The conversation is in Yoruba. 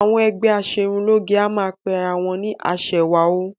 Àwọn ẹgbẹ́ aṣerunlóge a máa kí ara wọn pé aṣẹwà o